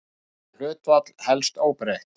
Það hlutfall helst óbreytt.